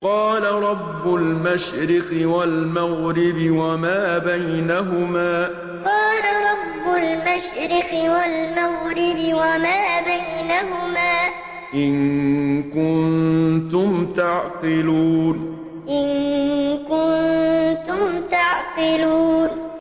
قَالَ رَبُّ الْمَشْرِقِ وَالْمَغْرِبِ وَمَا بَيْنَهُمَا ۖ إِن كُنتُمْ تَعْقِلُونَ قَالَ رَبُّ الْمَشْرِقِ وَالْمَغْرِبِ وَمَا بَيْنَهُمَا ۖ إِن كُنتُمْ تَعْقِلُونَ